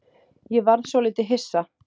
Ég varð svolítið hissa.